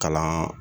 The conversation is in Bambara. Kalan